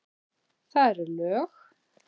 Það eru lög.